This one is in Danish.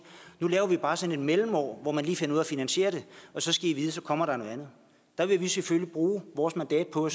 nu laver vi bare sådan et mellemår hvor man lige finder ud af at finansiere det og så skal i vide at så kommer der noget andet der vil vi selvfølgelig bruge vores mandat på